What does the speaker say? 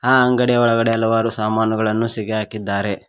ಆ ಅಂಗಡಿಯ ಒಳಗಡೆ ಹಲವಾರು ಸಾಮಾನುಗಳನ್ನು ಸಿಗಿ ಆಕಿದಾರೆ.